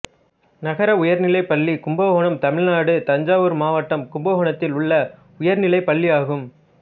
நகர உயர்நிலைப் பள்ளி கும்பகோணம் தமிழ்நாடு தஞ்சாவூர் மாவட்டம் கும்பகோணத்தில் உள்ள உயர்நிலைப்பள்ளியாகும்